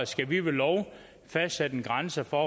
skal vi ved lov fastsætte en grænse for